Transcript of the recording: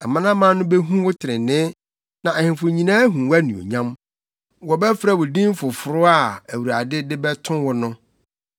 Amanaman no behu wo trenee, na ahemfo nyinaa ahu wʼanuonyam; wɔbɛfrɛ wo din foforo a Awurade de bɛto wo no.